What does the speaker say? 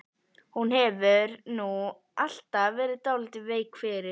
Þú hefur nú alltaf verið dálítið veik fyrir